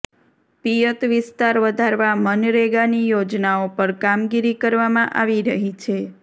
પિયત વિસ્તાર વધારવા મનરેગાની યોજનાઓ પર કામગીરી કરવામાં આવી રહી છે